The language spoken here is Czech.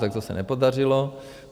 - Tak to se nepodařilo.